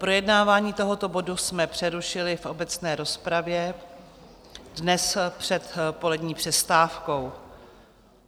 Projednávání tohoto bodu jsme přerušili v obecné rozpravě dnes před polední přestávkou.